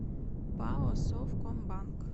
пао совкомбанк